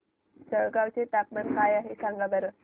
जळगाव चे तापमान काय आहे सांगा बरं